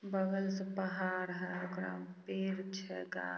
बगल से पहाड़ है ओकर पेड़ छेगा--